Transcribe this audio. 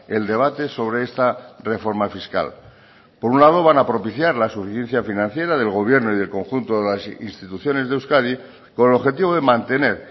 el debate sobre esta reforma fiscal por un lado van a propiciar la suficiencia financiera del gobierno y del conjunto de las instituciones de euskadi con el objetivo de mantener